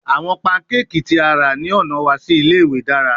Awọn pancakes ti a ra ni ọna wa si ile-iwe dara